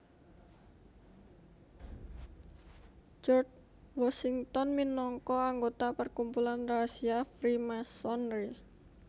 George Washington minangka anggota perkumpulan rahasia Freemasonry